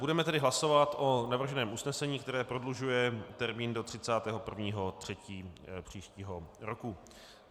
Budeme tedy hlasovat o navrženém usnesení, které prodlužuje termín do 31. 3. příštího roku.